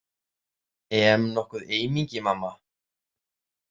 E em nokkuð eymingi, mamma?